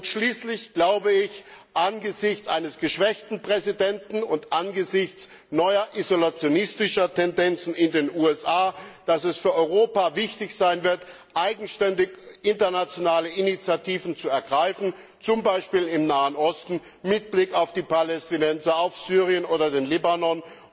Schließlich wird es angesichts eines geschwächten Präsidenten und angesichts neuer isolationistischer Tendenzen in den USA für Europa wichtig sein, eigenständig internationale Initiativen zu ergreifen, zum Beispiel im Nahen Osten mit Blick auf die Palästinenser, auf Syrien oder den Libanon.